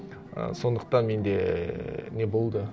і сондықтан менде ііі не болды